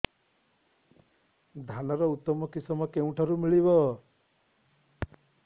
ଧାନର ଉତ୍ତମ କିଶମ କେଉଁଠାରୁ ମିଳିବ